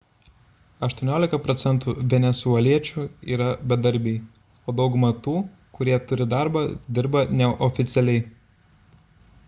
18 procentų venesueliečių yra bedarbiai o daugumą tų kurie turi darbą dirba neoficialiai